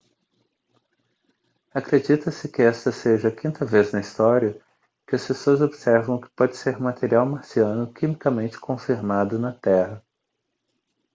acredita-se que esta seja a quinta vez na história que as pessoas observam o que pode ser material marciano quimicamente confirmado na terra